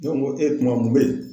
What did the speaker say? Ne ko ko kuma mun bɛ ye?